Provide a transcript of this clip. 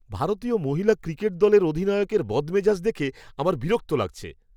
ভারতীয় মহিলা ক্রিকেট দলের অধিনায়কের বদমেজাজ দেখে আমার বিরক্ত লাগছে।